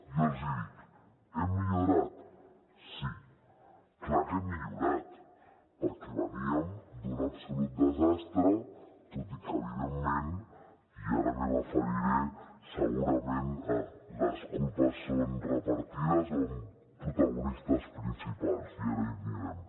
i jo els hi dic hem millorat sí clar que hem millorat perquè veníem d’un absolut desastre tot i que evidentment i ara m’hi referiré segurament les culpes són repartides o amb protagonistes principals i ara hi anirem